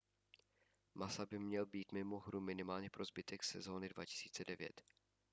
massa by měl být mimo hru minimálně po zbytek sezóny 2009